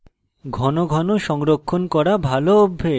file ঘন ঘন সংরক্ষণ করা ভালো অভ্যাস